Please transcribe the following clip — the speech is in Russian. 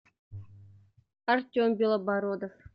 артем белобородов